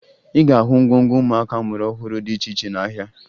Ị ga-ahụ ngwongwo ụmụaka a mụrụ ọhụrụ dị iche iche n'ahịa